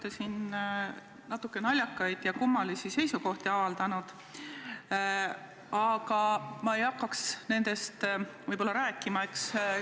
Te olete siin natuke naljakaid ja kummalisi seisukohti avaldanud, aga ma ei hakkaks nendest rääkima.